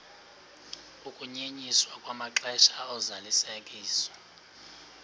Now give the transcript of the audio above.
ukunyenyiswa kwamaxesha ozalisekiso